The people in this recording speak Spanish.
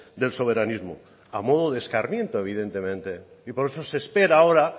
del soberanismo a modo de escarmiento evidentemente y por eso se espera ahora